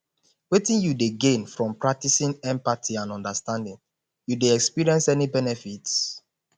wetin you dey gain from practicing empathy and understanding you dey experience any benefits